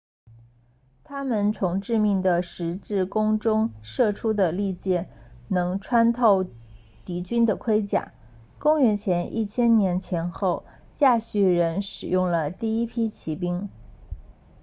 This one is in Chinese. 他们从致命的十字弓中射出的利箭能穿透敌军的盔甲公元前1000年前后亚述人使用了第一批骑兵